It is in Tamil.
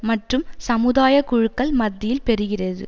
மற்றும் சமுதாய குழுக்கள் மத்தியில் பெருகிறது